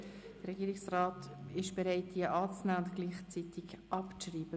Der Regierungsrat ist bereit, diese anzunehmen und gleichzeitig abzuschreiben.